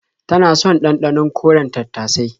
Tana son ɗanɗanon koren tattasai.